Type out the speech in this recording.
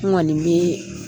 N kɔni bɛ